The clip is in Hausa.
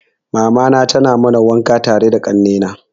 Mamana tana mana wanka tare da kanne na.